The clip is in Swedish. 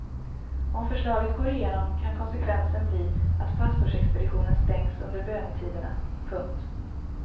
Om förslaget går igenom kan konsekvensen bli att pastorsexpeditionen stängs under bönetiderna. punkt